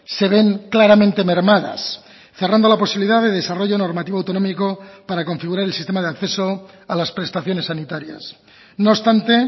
se ven claramente mermadas cerrando la posibilidad de desarrollo normativo autonómico para configurar el sistema de acceso a las prestaciones sanitarias no obstante